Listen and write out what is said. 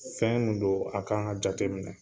Fɛn min don a kan ka jateminɛ